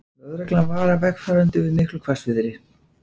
Lögreglan varar vegfarendur við miklu hvassviðri